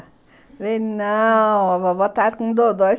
Ele, não, a vovó está com um dodói.